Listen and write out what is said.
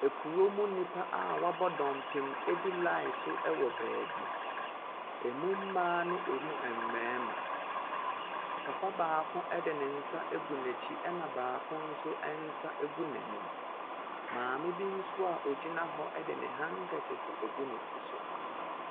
Kurom nnipa a wɔabɔ dɔmpem di line so wɔ baabi. Emu mmaa ne emu mmarima. Papa baako de ne nsa agu n'akyi, ɛnna baako nso nsa gu n'anim. Maame bi nso a ɔgyina hɔ de ne handkerchief agu ne ti so.